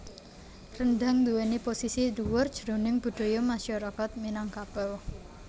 Rendhang nduwèni posisi dhuwur jroning budaya masyarakat Minangkabau